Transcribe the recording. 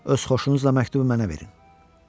Öz xoşunuzla məktubu mənə verin.